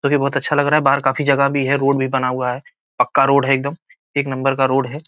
ये भी बहुत अच्छा लग रहा है बाहर काफी जगह भी है रोड भी बना हुआ है पक्का रोड है एक दम एक नंबर का रोड है